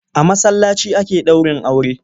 A masallaci ake ɗaurin aure.